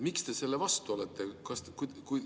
Miks te selle vastu olete?